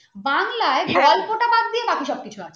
বাংলায় গল্প টা বাদ দিয়ে বাকি সব কিছু আছে